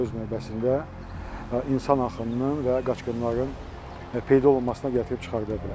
Bu da öz növbəsində insan axınının və qaçqınların peyda olmasına gətirib çıxarda bilər.